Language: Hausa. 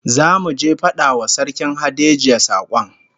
Zamu je mu fada wa Sarkin Hadejia sakon